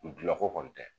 Gilako kɔni tɛ